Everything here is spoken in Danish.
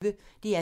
DR P1